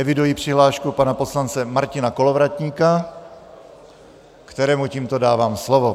Eviduji přihlášku pana poslance Martina Kolovratníka, kterému tímto dávám slovo.